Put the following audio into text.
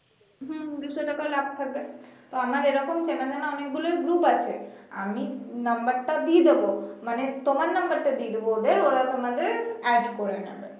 হম দুইশ টাকা লাভ থাকবে তো আমার এরকম চেনা জানা অনেকগুলোই group আছে আমি নাম্বার টা দিয়ে দিবো মানে তোমার নাম্বার টা দিয়ে দিবো ওরা তোমাকে add করে নিবে